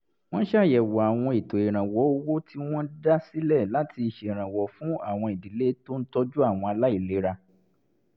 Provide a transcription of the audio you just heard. wọ́n ṣàyẹ̀wò àwọn ètò ìrànwọ́ owó tí wọ́n dá sílẹ̀ láti ṣèrànwọ́ fún àwọn ìdílé tó ń tọ́jú àwọn aláìlera